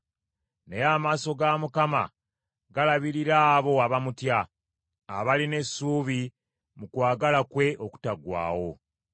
Naye amaaso ga Mukama galabirira abo abamutya; abalina essuubi mu kwagala kwe okutaggwaawo,